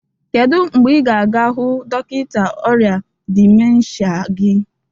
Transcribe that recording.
kedu mgbe ị ga-aga hụ dọkịta ọrịa dịmensha gị?